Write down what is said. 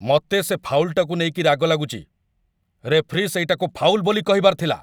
ମତେ ସେ ଫାଉଲ୍‌ଟାକୁ ନେଇକି ରାଗ ଲାଗୁଚି! ରେଫରୀ ସେଇଟାକୁ ଫାଉଲ୍ ବୋଲି କହିବାର ଥିଲା ।